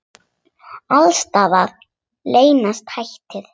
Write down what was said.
Alls staðar leynast hættur.